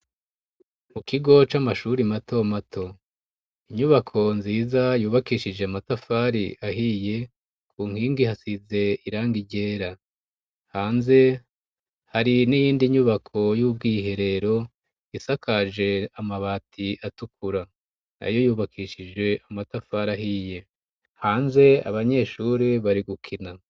Mu kigo c'amashuri mato mato. Inyubako nziza yubakishije amatafari ahiye, ku nkingi hasize irangi ryera. Hanze hari n'iyindi nyubako y'ubwiherero, isakaje amabati atukura. Nayo yubakishije amatafari ahiye. Hanze abanyeshuri bari gukina.